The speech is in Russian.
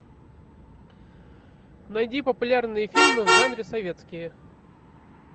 найди популярные фильмы в жанре советские